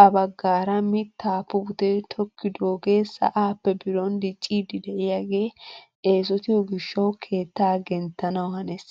ha baggaara mittaa putee tokkidoogee sa'aappe biron dicciidi de'iyaage esotiyoo gishshawu keettaa genttanawu hanees!